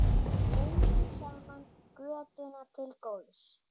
Göngum saman götuna til góðs.